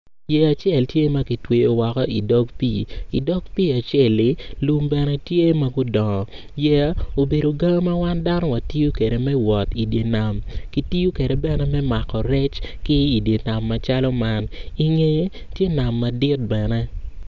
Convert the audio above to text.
Yeya acel tye ma kitweyo woko idok pii idog pii acel-li lum bene tye ma gudongo yeya obedo ga ma wan dano watiyo kwede me wot idye nam kitiyo kwede bene me mako rec ki idye nam macalo man ingeye tye nam madit bene.